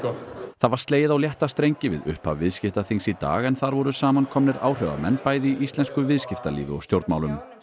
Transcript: það var slegið á létta strengi við upphaf viðskiptaþings í dag en þar voru samankomnir áhrifamenn bæði í íslensku viðskiptalífi og stjórnmálum